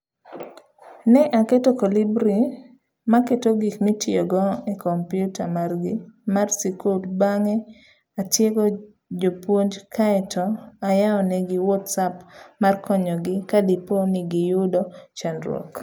Ne aketo Kolibri maketo gik mitiyogo e kompiuta margi mar sikul, bang'e atiego jopuonjkaeto ayawo negi Whatsapp mar konyogi kadipo nigiyudo chandruok.